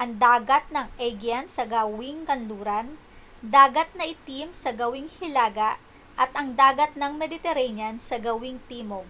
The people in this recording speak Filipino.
ang dagat ng aegean sa gawing kanluran dagat na itim sa gawing hilaga at ang dagat ng mediterranean sa gawing timog